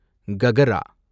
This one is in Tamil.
ககரா